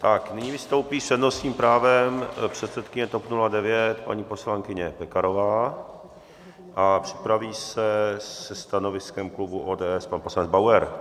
Tak nyní vystoupí s přednostním právem předsedkyně TOP 09 paní poslankyně Pekarová a připraví se se stanoviskem klubu ODS pan poslanec Bauer.